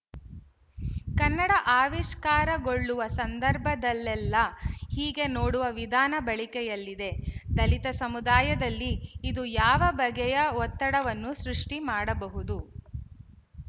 ಕನ್ನಡ ಆವಿಷ್ಕಾರಗೊಳ್ಳುವ ಸಂದರ್ಭದಲ್ಲೆಲ್ಲ ಹೀಗೆ ನೋಡುವ ವಿಧಾನ ಬಳಕೆಯಲ್ಲಿದೆ ದಲಿತ ಸಮುದಾಯದಲ್ಲಿ ಇದು ಯಾವ ಬಗೆಯ ಒತ್ತಡವನ್ನು ಸೃಷ್ಟಿ ಮಾಡಬಹುದು